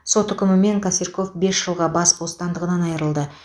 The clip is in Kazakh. сот үкімімен косырьков бес жылға бас бостандығынан айырылды